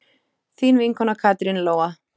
Þín vinkona Katrín Lóa.